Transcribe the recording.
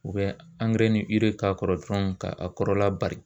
O bɛ angɛrɛ ni ire k'a kɔrɔ dɔrɔn ka a kɔrɔla bari